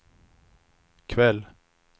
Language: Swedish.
kväll